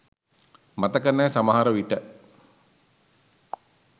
මතක නෑ සමහර විට